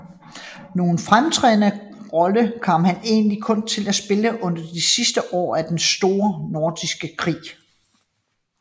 Nogen fremtrædende rolle kom han egentlig kun til at spille under de sidste år af den store nordiske Krig